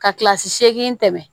Ka kilasi seegin tɛmɛ